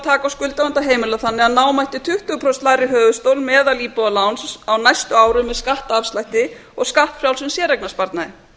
taka á skuldavanda heimilanna þannig að ná mætti tuttugu prósenta lægri höfuðstól meðalíbúðaláns með næstu árum með skattafslætti og skattfrjálsum séreignarsparnaði